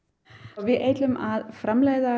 við ætlum að framleiða